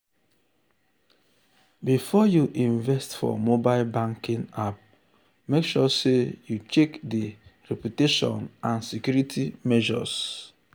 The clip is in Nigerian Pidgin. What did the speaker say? before you invest for mobile banking app mek sure sey you check di reputation and security measures.